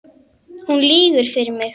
Hún lýgur fyrir mig.